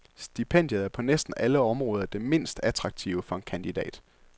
Stipendiet er på næsten alle områder det mindst attraktive for en kandidat.